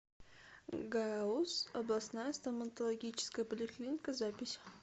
гауз областная стоматологическая поликлиника запись